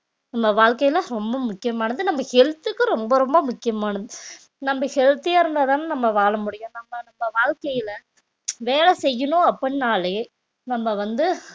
நம்ம வாழ்க்கையில ரொம்ப முக்கியமானது நம்ம health க்கு ரொம்ப ரொம்ப முக்கியமானது நம்ம healthy அ இருந்தாதானே நம்ப வாழ முடியும் நம்ப நம்ப வாழ்க்கையில வேலை செய்யணும் அப்படின்னாலே நம்ப வந்து